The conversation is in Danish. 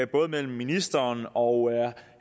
både mellem ministeren og